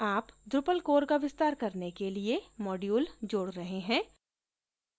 आप drupal core का विस्तार करने के लिए module जोड रहे हैं